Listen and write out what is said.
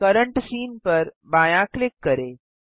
current scene पर बायाँ click करें